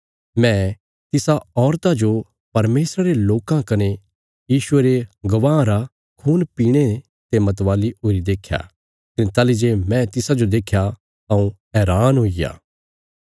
मैं तिसा औरता जो परमेशरा रे लोकां कने यीशुये रे गवाहां रा खून पीणे ते मतवाली हुईरी देख्या कने ताहली जे मैं तिसाजो देख्या हऊँ हैरान हुईग्या